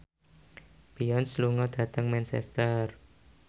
Beyonce lunga dhateng Manchester